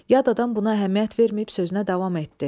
Yad adam buna əhəmiyyət verməyib sözünə davam etdi.